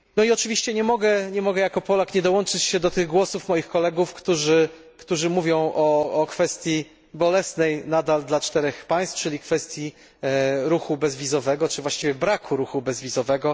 Oczywiście jako Polak nie mogę nie dołączyć się do tych głosów moich kolegów, którzy mówią o kwestii bolesnej nadal dla czterech państw, czyli kwestii ruchu bezwizowego czy właściwie braku ruchu bezwizowego.